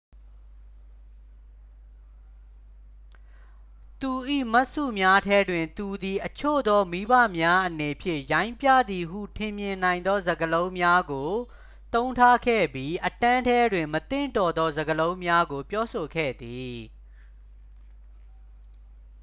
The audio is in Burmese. သူ၏မှတ်စုများထဲတွင် သူသည် အချို့သောမိဘများအနေဖြင့် ရိုင်းပြသည်ဟုထင်မြင်နိုင်သော စကားလုံးများကို သုံးထားခဲ့ပြီး အတန်းထဲတွင် မသင့်တော်သောစကားလုံးများကို ပြောဆိုခဲ့သည်